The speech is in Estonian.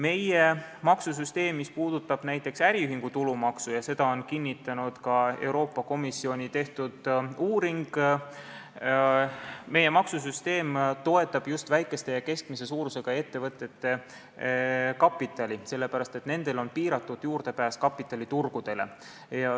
Meie maksusüsteem, mis puudutab näiteks äriühingu tulumaksu – seda on kinnitanud ka Euroopa Komisjoni tehtud uuring –, toetab just väikese ja keskmise suurusega ettevõtete kapitali, sest nendel on piiratud juurdepääs kapitaliturgudele.